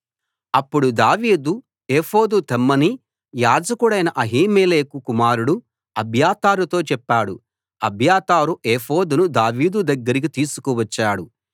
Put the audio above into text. అప్పుడు దావీదు ఏఫోదు తెమ్మని యాజకుడైన అహీమెలెకు కుమారుడు అబ్యాతారుతో చెప్పాడు అబ్యాతారు ఏఫోదును దావీదు దగ్గరికి తీసుకు వచ్చాడు